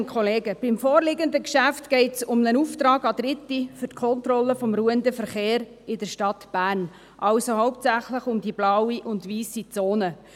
Beim vorliegenden Geschäft geht es um einen Auftrag an Dritte für die Kontrolle des ruhenden Verkehrs in der Stadt Bern, also hauptsächlich um die blaue und weisse Zone.